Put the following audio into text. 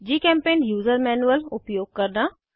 जीचेम्पेंट user manual उपयोग करना